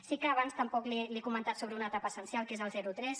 sí que abans tampoc li he comentat sobre una etapa essencial que és el zerotres